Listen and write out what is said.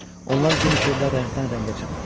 Onlar gün işıqda rəngdən-rəngə çalırdı.